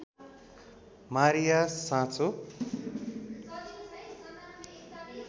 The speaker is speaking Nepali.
मारिया साँचो